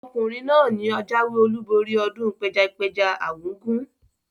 Ọkùnrin náà ni ajáwé olúborí ọdún pẹjapẹja argungu.